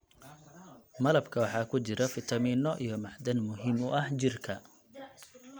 Malabka waxaa ku jira fitamiino iyo macdan muhiim u ah jirka.